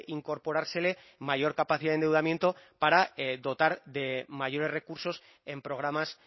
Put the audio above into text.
incorporársele mayor capacidad de endeudamiento para dotar de mayores recursos en programas